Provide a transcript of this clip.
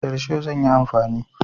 Da risho zan yi amfani.